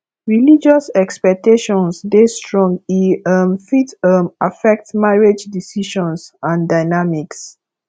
religious expectations dey strong e um fit um affect marriage decisions and dynamics